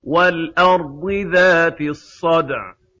وَالْأَرْضِ ذَاتِ الصَّدْعِ